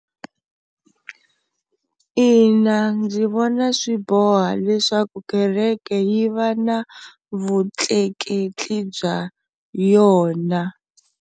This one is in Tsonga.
Ina ndzi vona swi boha leswaku kereke yi va na vutleketli bya yona.